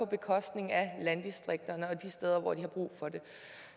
bekostning af landdistrikterne og de steder hvor de har brug for det